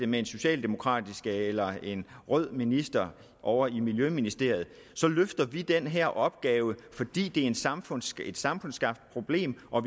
med en socialdemokratisk eller en rød minister ovre i miljøministeriet så løfter vi den her opgave fordi det er et samfundsskabt samfundsskabt problem og